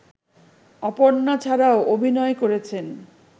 অপর্ণা ছাড়াও অভিনয় করেছেন